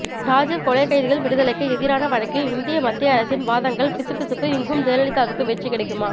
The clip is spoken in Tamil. ராஜீவ் கொலை கைதிகள் விடுதலைக்கு எதிரான வழக்கில் இந்திய மத்திய அரசின் வாதங்கள் பிசுபிசுப்பு இங்கும் ஜெயலலிதாவுக்கு வெற்றி கிடைக்குமா